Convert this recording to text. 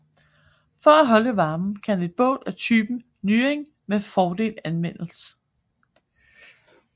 For holde varmen kan et bål af typen nying med fordel anvendes